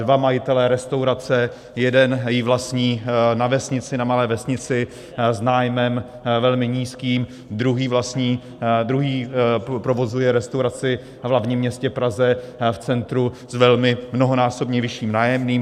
Dva majitelé restaurace, jeden ji vlastní na malé vesnici s nájmem velmi nízkým, druhý provozuje restauraci v hlavním městě Praze, v centru, s velmi mnohonásobně vyšším nájemným.